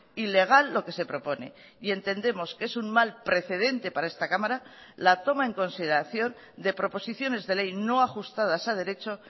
ilegal lo que se propone y entendemos que es un mal precedente para esta cámara la toma en consideración de proposiciones de ley no ajustadas a derecho